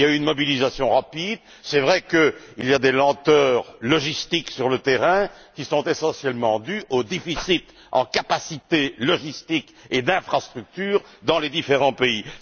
Il y a eu une mobilisation rapide. C'est vrai qu'il y a des lenteurs logistiques sur le terrain, qui sont essentiellement dues au déficit en capacités en matière de logistique et d'infrastructures dans les différents pays.